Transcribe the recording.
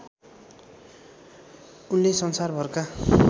उनले संसारभरका